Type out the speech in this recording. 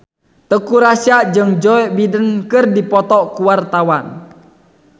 Teuku Rassya jeung Joe Biden keur dipoto ku wartawan